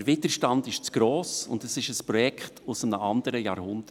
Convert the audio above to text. Der Widerstand ist zu gross, und es ist ein Projekt aus einem anderen Jahrhundert.